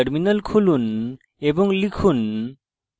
terminal খুলুন এবং লিখুন